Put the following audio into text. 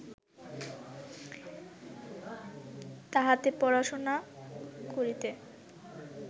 তাহাতে পড়াশুনা করিতে